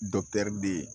de ye